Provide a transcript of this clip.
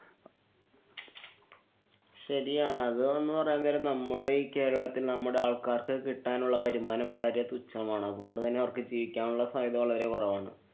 ശരിയാണ്. അത് താങ്കള് പറയാന്‍ നേരം നമ്മുടെ ഈ കേരളത്തില്‍ നമ്മുടെ ആള്‍ക്കാര്‍ക്ക് കിട്ടാനുള്ള വരുമാനം വളരെ തുച്ഛമാണ്. അതുകൊണ്ടു തന്നെ അവര്‍ക്ക് ജീവിക്കാനുള്ള സാധ്യത വളരെ കുറവാണ്.